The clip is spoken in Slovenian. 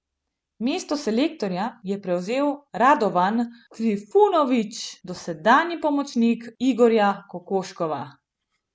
Mesto selektorja je prevzel Radovan Trifunović, dosedanji pomočnik Igorja Kokoškova.